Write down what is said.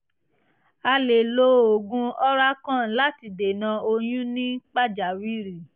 a lè lo oògùn oralcon láti dènà oyún ní pàjáwìrì